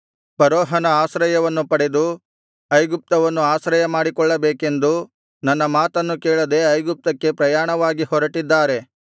ಫರೋಹನ ಆಶ್ರಯವನ್ನು ಪಡೆದು ಐಗುಪ್ತವನ್ನು ಆಶ್ರಯ ಮಾಡಿಕೊಳ್ಳಬೇಕೆಂದು ನನ್ನ ಮಾತನ್ನು ಕೇಳದೆ ಐಗುಪ್ತಕ್ಕೆ ಪ್ರಯಾಣವಾಗಿ ಹೊರಟಿದ್ದಾರೆ